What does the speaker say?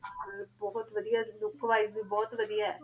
ਬੋਹਤ ਵਾਦਿਯਾਂ look wise ਵੀ ਬੋਹਤ ਵਾਦਿਯ ਆਯ